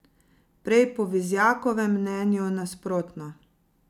Prej po Vizjakovem mnenju nasprotno.